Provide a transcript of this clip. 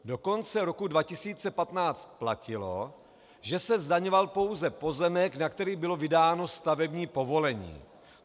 Do konce roku 2015 platilo, že se zdaňoval pouze pozemek, na který bylo vydáno stavební povolení.